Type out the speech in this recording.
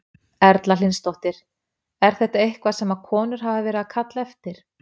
Erla Hlynsdóttir: Er þetta eitthvað sem að konur hafa verið að kalla eftir?